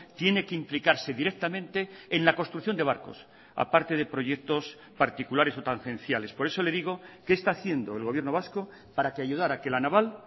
tiene que implicarse directamente en la construcción de barcos a parte de proyectos particulares o tangenciales por eso le digo qué está haciendo el gobierno vasco para que ayudar a que la naval